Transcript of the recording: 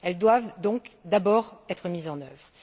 Elles doivent donc d'abord être mises en œuvre.